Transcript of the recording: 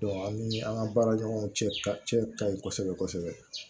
an ni an ka baara ɲɔgɔnw cɛ cɛ ka ɲi kosɛbɛ kosɛbɛ